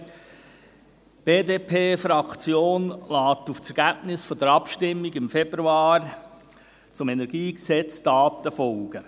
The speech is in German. Die BDP-Fraktion lässt auf das Ergebnis der Abstimmung im Februar zum Kantonalen Energiegesetz (KEnG) Taten folgen.